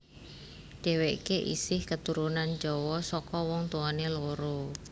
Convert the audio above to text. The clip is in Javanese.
Dhéwéké isih katurunan Jawa saka wong tuwané loro